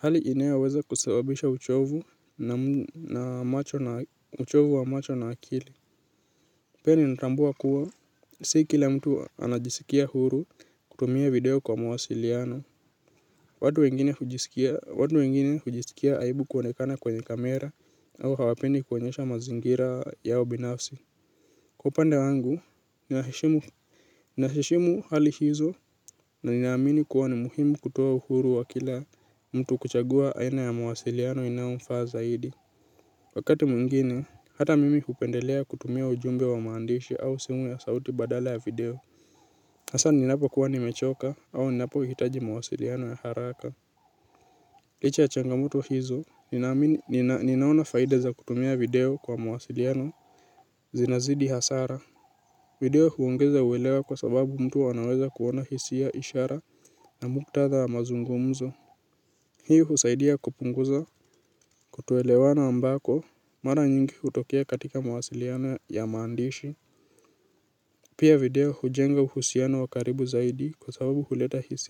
hali inayoweza kusababisha uchovu na macho na uchovu wa macho na akili. Pia ninatambua kuwa, si kila mtu anajisikia huru kutumia video kwa mawasiliano watu wengine watu wengine hujisikia aibu kuonekana kwenye kamera au hawapendi kuonyesha mazingira yao binafsi. Kwa upande wangu, ninaheshimu hali hizo na ninaamini kuwa ni muhimu kutoa uhuru wa kila mtu kuchagua aina ya mawasiliano inayomfaa zaidi. Wakati mwingine, hata mimi hupendelea kutumia ujumbe wa maandishi au simu ya sauti badala ya video hasa ninapokuwa nimechoka au ninapohitaji mawasiliano ya haraka. Licha ya changamoto hizo, ninaona faida za kutumia video kwa mawasiliano zinazidi hasara. Video huongeza uelewa kwa sababu mtu anaweza kuona hisia ishara na muktadha wa mazungumzo. Hii husaidia kupunguza kutoelewana ambako mara nyingi hutokea katika mawasiliano ya maandishi. Pia video hujenga uhusiano wa karibu zaidi kwa sababu huleta hisia.